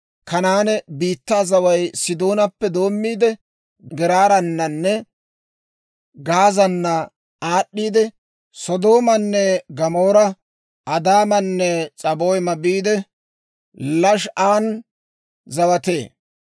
Kanaane biittaa zaway Sidoonappe doommiide, Geeraarananne Gaazaanna aad'd'iidde, Sodoomaanne Gamoora, Adaamanne S'aboyma biide, Lashaa'an zawatee.